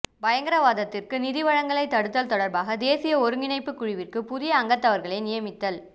பயங்கரவாதத்திற்கு நிதி வழங்கலை தடுத்தல் தொடர்பான தேசிய ஒருங்கிணைப்பு குழுவிற்கு புதிய அங்கத்தவர்களை நியமித்தல்